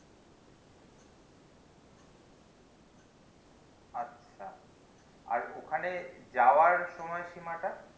আচ্ছা আর ওখানে যাওযার সময় সীমা টা